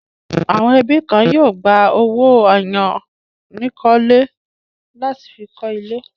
Àwọn ẹbí kan yóò gba owó àyánikọ́lé láti fi kọ́ ilé.